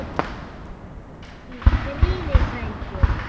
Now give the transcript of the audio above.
Hvíl þú í friði frændi.